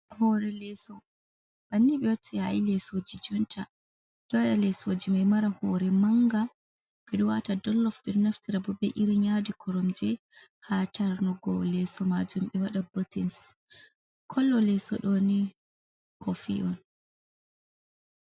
Hore leso. Bannin be watta yayi lesoji jonta. Ɓeɗo waɗa lesoji mai mara hore manga, ɓeɗo wata donlof ɓeɗo naftirabo be irin yadi koromje ha tarnugo leso majum, ɓe waɗa kotes. Kala leso ɗoni kofii on.